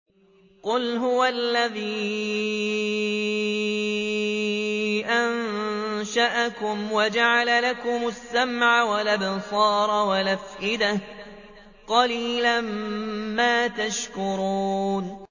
قُلْ هُوَ الَّذِي أَنشَأَكُمْ وَجَعَلَ لَكُمُ السَّمْعَ وَالْأَبْصَارَ وَالْأَفْئِدَةَ ۖ قَلِيلًا مَّا تَشْكُرُونَ